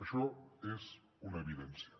això és una evidència